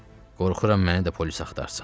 Qorxuram məni də polis axtarsın.